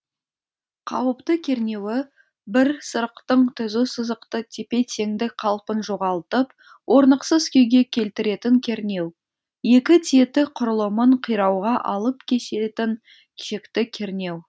қауіпті кернеуі бір сырықтың түзу сызықты тепе теңдік қалпын жоғалтып орнықсыз күйге келтіретін кернеу екі тетік құрылымын кирауға алып кеселетін шекті кернеу